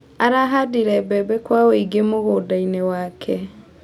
Arahandire mbembe kwa wĩingĩ mũgũndainĩ wake.